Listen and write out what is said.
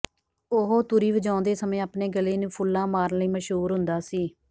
ਉਹ ਤੁਰ੍ਹੀ ਵਜਾਉਂਦੇ ਸਮੇਂ ਆਪਣੇ ਗਲੇ ਨੂੰ ਫੁੱਲਾਂ ਮਾਰਣ ਲਈ ਮਸ਼ਹੂਰ ਹੁੰਦਾ ਸੀ